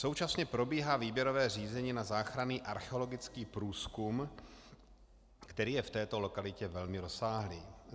Současně probíhá výběrové řízení na záchranný archeologický průzkum, který je v této lokalitě velmi rozsáhlý.